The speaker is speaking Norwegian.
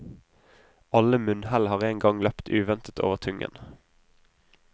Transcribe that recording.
Alle munnhell har en gang løpt uventet over tungen.